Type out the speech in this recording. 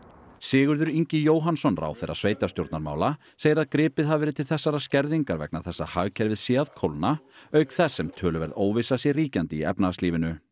Sigurður Ingi Jóhannsson ráðherra sveitarstjórnarmála segir að gripið hafi verið til þessarar skerðingar vegna þess að hagkerfið sé að kólna auk þess sem töluverð óvissa sé ríkjandi í efnahagslífinu